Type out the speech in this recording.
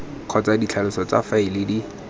kgotsa ditlhaloso tsa faele di